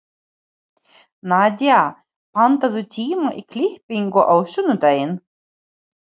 Nadía, pantaðu tíma í klippingu á sunnudaginn.